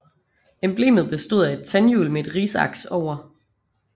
Emblemet bestod af et tandhjul med et risaks over